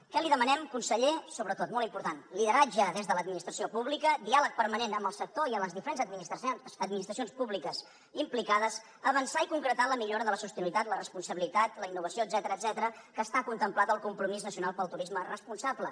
què li demanem conseller sobretot molt important lideratge des de l’administració pública diàleg permanent amb el sector i amb les diferents administracions públiques implicades avançar i concretar la millora de la sostenibilitat la responsabilitat la innovació etcètera que està contemplat al compromís nacional pel turisme responsable